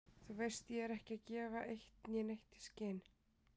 Þú veist ég er ekki að gefa eitt né neitt í skyn.